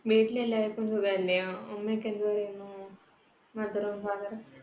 വീട്ടിൽ എല്ലാർക്കും സുഖമല്ലേ? ഉമ്മയൊക്കെ എന്ത് പറയുന്നു? mother ഉം father ഉം